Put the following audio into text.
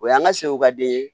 O y'an ka seko ka den ye